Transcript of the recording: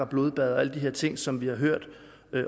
blodbad og alle de her ting som vi har hørt